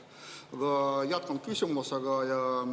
Aga jätkan küsimusega.